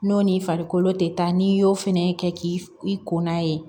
N'o n'i farikolo tɛ taa n'i y'o fɛnɛ kɛ k'i kɔnna ye